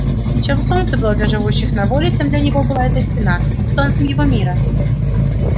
чем солнце было для живущих на воле тем для него была эта стена солнцем его мира